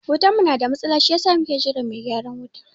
Wutan mu na da matsala si yasa muke jiran mai gyaran wuta